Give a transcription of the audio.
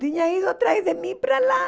Tinha ido atrás de mim para lá.